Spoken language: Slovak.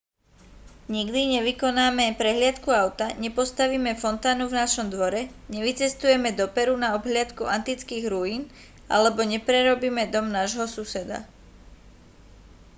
nikdy nevykonáme prehliadku auta nepostavíme fontánu v našom dvore nevycestujeme do peru na obhliadku antických ruín alebo neprerobíme dom nášho suseda